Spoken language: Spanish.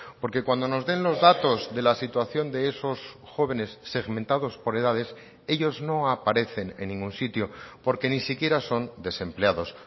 porque cuando nos den los datos de la situación de esos jóvenes segmentados por edades ellos no aparecen en ningún sitio porque ni siquiera son desempleados